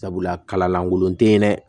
Sabula kala lankolon te yen dɛ